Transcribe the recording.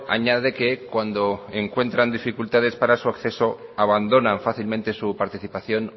añade que cuando encuentran dificultades para su acceso abandonan fácilmente su participación